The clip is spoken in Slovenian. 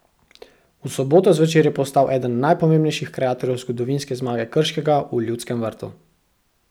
V soboto zvečer je postal eden najpomembnejših kreatorjev zgodovinske zmage Krškega v Ljudskem vrtu.